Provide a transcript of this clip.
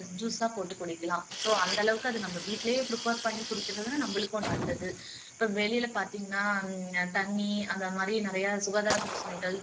juice ஆ போட்டு குடிக்கலாம் so அந்த அளவுக்கு நம்ம வீட்டுலேயே prepare பண்ணி குடுக்குறதுனால நம்மளுக்கும் நல்லது இப்போ வெளியில பாத்தீங்கண்ணா தண்ணி அந்த மாதிரி நிறைய சுகாதார பிரச்சினைகள்